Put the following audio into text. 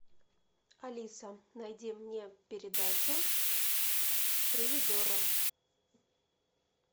алиса найди мне передачу ревизорро